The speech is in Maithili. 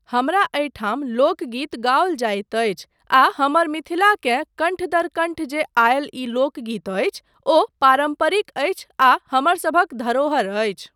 हमरा एहिठाम लोकगीत गाओल जाइत अछि आ हमर मिथिलाकेँ कण्ठ दर कण्ठ जे आयल ई लोकगीत अछि, ओ पारम्परिक अछि आ हमरसभक धरोहर अछि।